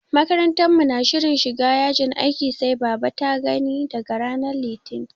Makarantar mu na shirin shiga yajin aikin sai baba ta gani daga ranar Litinin.